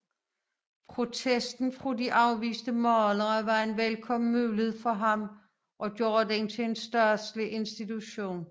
Protesten fra de afviste malere var en velkommen mulighed for ham at gøre den til en statslig institution